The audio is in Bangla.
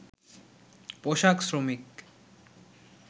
পোশাক শ্রমিক